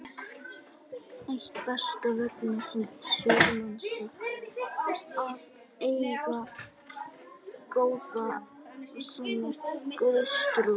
Eitt besta veganesti sérhvers manns er að eiga góða og sanna Guðstrú.